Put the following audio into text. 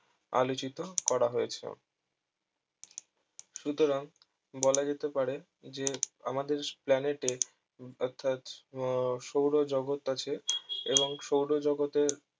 আলোচিত করা হয়েছে সুতরাং বলা যেতে পারে যে আমদের planet এ অর্থাৎ আহ সৌরজগত আছে এবং সৌরজগতের